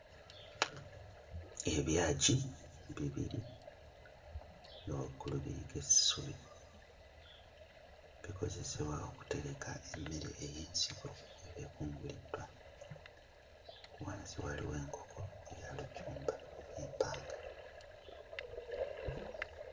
Ebyagi bibiri nga waggulu biriko essubi bikozesebwa okutereka emmere ey'ensigo eba ekunguliddwa wansi wali enkoko eya lujumba empanga.